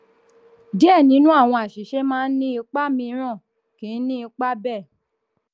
díẹ̀ nínú àwọn àṣìṣe máa ní ipa míìrán kì í ní ipa bẹ́ẹ̀.